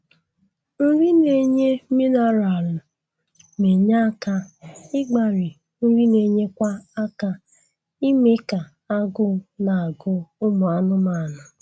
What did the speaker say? Nri na-enye minaralụ na-enye aka ịgbari nri na-enyekwa aka ime ka agụụ na-agụ ụmụ anụmanụ